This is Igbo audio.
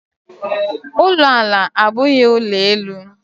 ụlọ ala abụghị ụlọ elu.